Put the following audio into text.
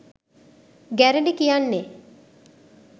ගැරඬි කියන්නෙ